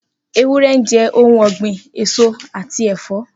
Ewúrẹ́ jẹ ohun ọgbin, eso ati ẹ̀fọ́.